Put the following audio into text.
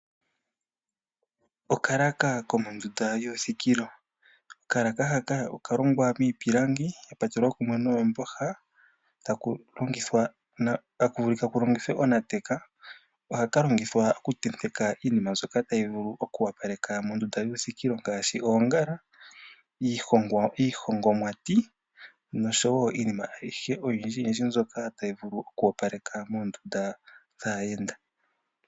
Okalaaka komondunda yuuthikilo, okalaaka haka okalongwa miipilangi katulwa kumwe noomboha eta kulongithwa onateka, ohaka longithwa okutenteka iinima mbyoka tayi vulu oku opaleka moondunda yuuthikilo ngaashi oongala, iihongomwati nosho wo iinima ayihe oyindji yindji mbyoka tayi vulu oku opaleka moondunda dhaayenda.